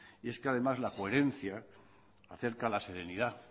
y es que además la coherencia acerca a la serenidad